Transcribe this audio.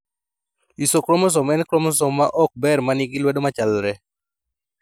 Isochromosome en kromosom ma ok ber manigi lwedo machalre